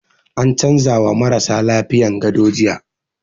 An canza wa marasa lafiyan gado jiya